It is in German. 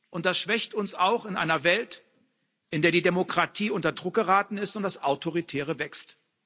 Und das schwächt uns auch in einer Welt, in der die Demokratie unter Druck geraten ist und das Autoritäre wächst.